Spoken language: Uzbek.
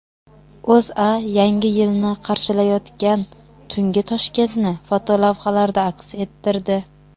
O‘zA Yangi yilni qarshilayotgan tungi Toshkentni fotolavhalarda aks ettirdi .